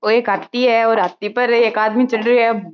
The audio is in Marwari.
ओ एक हाथी है और हाथी पर एक आदमी चढ़ रियो है।